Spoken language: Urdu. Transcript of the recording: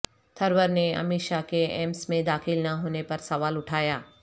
تھرور نے امت شاہ کے ایمس میں داخل نہ ہونے پر سوال اٹھایا